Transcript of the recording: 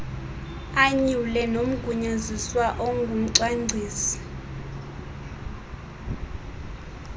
anyule nomgunyaziswa ongumcwangcisi